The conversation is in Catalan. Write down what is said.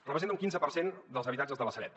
representa un quinze per cent dels habitatges de la sareb